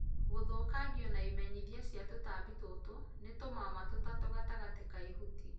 Gũthũkangio na imenyithia cia tũtambi tũtũ nĩ tũmama tũtatũ gatagatĩ kaa ihuti